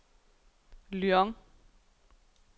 Lyon